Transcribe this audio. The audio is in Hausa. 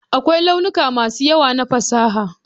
Akwai launuka masu yawa na fasaha.